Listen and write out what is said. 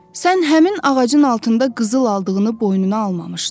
Sən həmin ağacın altında qızıl aldığını boynuna almamışdın.